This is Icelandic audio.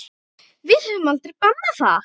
Við höfum aldrei bannað það.